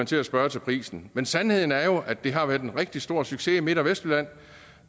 til at spørge til prisen men sandheden er jo at det har været en rigtig stor succes i midt og vestjylland